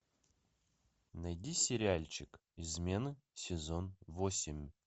найди сериальчик измены сезон восемь